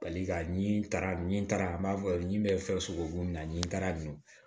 Bali ka ɲi taara ni taara n b'a fɔ n bɛ fɛn sogo mun na nin taara n